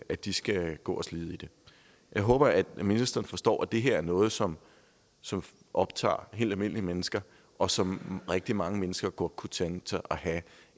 at de skal gå og slide i det jeg håber at ministeren forstår at det her er noget som som optager helt almindelige mennesker og som rigtig mange mennesker godt kunne tænke sig at have